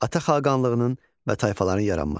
Ata xaqanlığının və tayfaların yaranması.